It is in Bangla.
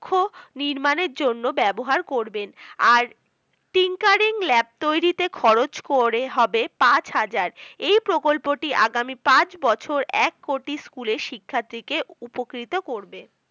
কক্ষ নির্মাণের জন্য ব্যবহার করবেন আর tinkering lab তৈরিতে খরচ করে হবে পাঁচ হাজার, এই প্রকল্পটি আগামী পাঁচ বছর এক কোটি school শিক্ষার্থীকে উপকৃত করবে।